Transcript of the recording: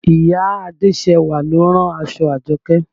Ìyá Adéṣẹwà lo rán aṣọ Àjọkẹ́